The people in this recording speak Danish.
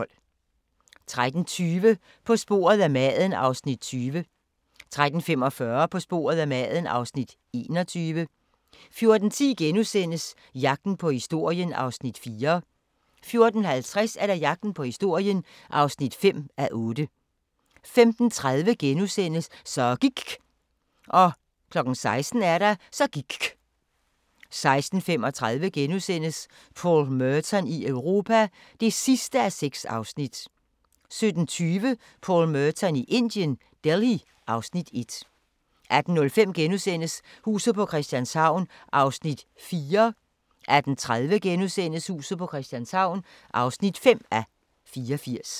13:20: På sporet af maden (Afs. 20) 13:45: På sporet af maden (Afs. 21) 14:10: Jagten på historien (4:8)* 14:50: Jagten på historien (5:8) 15:30: Så gIKK' * 16:00: Så gIKK' 16:35: Paul Merton i Europa (6:6)* 17:20: Paul Merton i Indien – Delhi (Afs. 1) 18:05: Huset på Christianshavn (4:84)* 18:30: Huset på Christianshavn (5:84)*